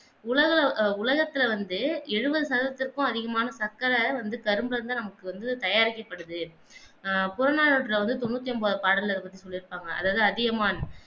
உலக எர் உலகத்தில் வந்து எழுவது சதத்திற்கும் அதிகமான சக்கர வந்து கரும்பிலிருந்து தான் நமக்கு வந்து தயாரிக்கப்படுகிறது ஆஹ் தொண்ணுத் தொன்பது பாடல்ல இத பத்தி சொல்லி இருப்பாங்க அதாவது அதிகமான்